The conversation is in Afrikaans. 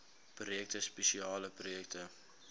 projekte spesiale projekte